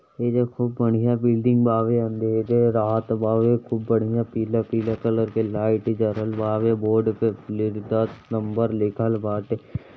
ये देखो बढ़िया बिल्डिंग बावे। अंधेरे रात बावे। खूब बढ़िया पीला-पीला कलर के लाइट जरल बावे। बोर्ड पे नंबर लिखल बाटे।